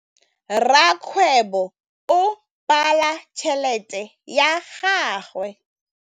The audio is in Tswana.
Rakgwêbô o bala tšheletê ya gagwe.